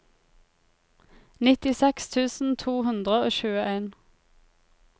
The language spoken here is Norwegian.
nittiseks tusen to hundre og tjueen